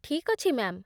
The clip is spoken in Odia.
ଠିକ୍ ଅଛି, ମ୍ୟା'ମ୍ ।